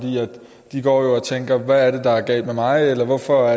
de går og tænker hvad er det der er galt med mig eller hvorfor